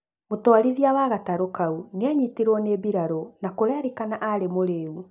Mũtwarithia wa gatarũ kau nĩanyitirwo nĩ mbirarũ na kũrerĩkana aarĩ mũrĩu